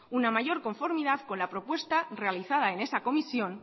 una mayor conformidad con la propuesta realizada en esa comisión